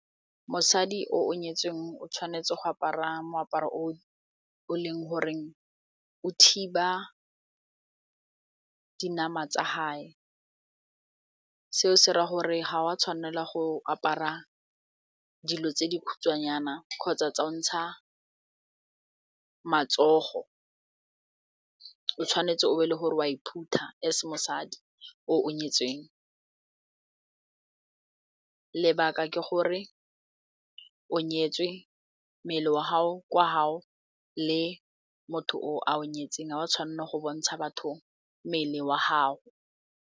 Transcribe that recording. Mosadi o o nyetsweng o tshwanetse go apara moaparo o o leng goreng o thiba dinama tsa gae seo se ra gore ga wa tshwanela go apara dilo tse di khutshwanyana kgotsa tsa o ntsha matsogo, o tshwanetse o be le gore o a e phutha as mosadi o nyetsweng lebaka ke gore o nyetswe, mmele wa gago kwa gao le motho o a o nyetseng ga wa tshwanela go bontsha batho mmele wa gao.